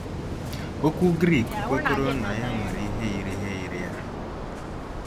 Okwu Grik kwekọrọ na ya nwere ihe yiri ihe yiri ya.